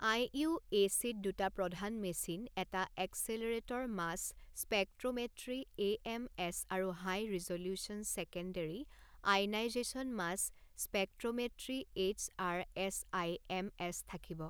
আইইউএচিত দুটা প্ৰধান মেচিন এটা এক্সেলেৰেটৰ মাছ স্পেকট্ৰোমেট্ৰি এএমএছ আৰু high resolution secondary ionization mass spectrometry HR SIMS থাকিব।